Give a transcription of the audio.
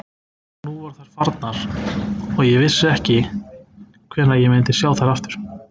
Nú voru þær farnar og ég vissi ekki hvenær ég myndi sjá þær aftur.